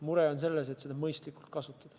Mure on selles, et seda mõistlikult kasutataks.